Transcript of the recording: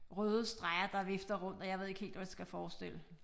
Røde streger der vifter rundt og jeg ved ikke helt hvad det skal forestille